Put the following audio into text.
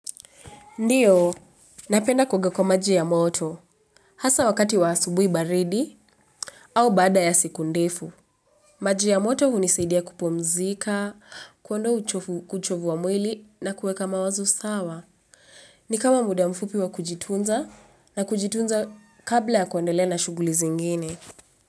Ndiyo, napenda kuoga kwa maji ya moto. Hasa wakati wa asubuhi baridi au baada ya siku ndefu. Maji ya moto hunisaidia kupumzika, kuondoa uchofu kuchofu wa mwili na kueka mawazu sawa. Ni kama muda mfupi wa kujitunza na kujitunza kabla ya kuendelea na shughuli zingine.